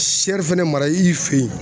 fɛnɛ mara i fɛ yen